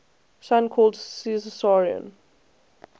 son called caesarion